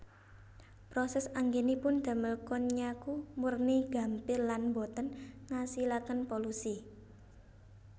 Proses anggenipun damel konnyaku murni gampil lan boten ngasilaken polusi